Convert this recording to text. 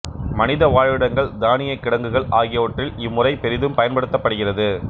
மனித வாழ்விடங்கள் தானியக் கிடங்குகள் ஆகியவற்றில் இம்முறை பெரிதும் பயன்படுத்தப்படுகிறது